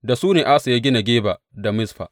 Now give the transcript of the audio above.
Da su ne Asa ya gina Geba da Mizfa.